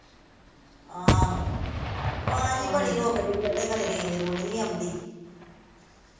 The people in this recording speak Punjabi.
ਆਹੋ, ਆਵਾਜ਼ ਹੀ ਬੜੀ ਰੁਕਦੀ ਆ ਤੇ ਖਰੇ ਰੇਂਜ ਰੂੰਜ ਨੀ ਆਉਂਦੀ